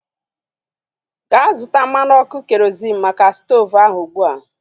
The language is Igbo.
Gaa zụta mmanụ ọkụ kerozịn maka stoovu ahu ụgbụa!